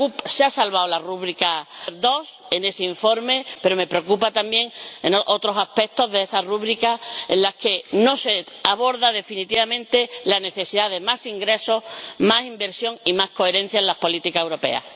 Se ha salvado la rúbrica 2 en ese informe, pero me preocupan también otros aspectos de esa rúbrica en los que no se aborda definitivamente la necesidad de más ingresos, más inversión y más coherencia en las políticas europeas.